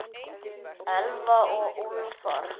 Elfa og Úlfar.